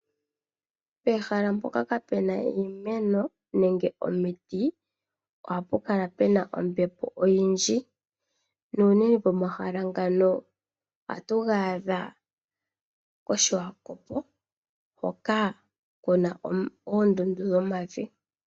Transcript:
Peha mpoka pwaana iimeno nenge omiti ohapukala puna ombepo oyindji nomahala ngaka ohatu gaadha koSwakop hoka kuna oondundu dhomavi .